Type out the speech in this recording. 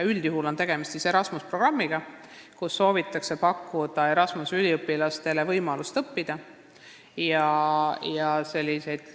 Üldjuhul on tegemist Erasmuse programmiga, Erasmuse üliõpilastele soovitakse pakkuda võimalust siin õppida.